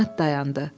At dayandı.